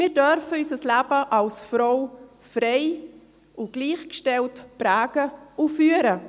Wir dürfen unser Leben als Frau frei und gleichgestellt prägen und führen.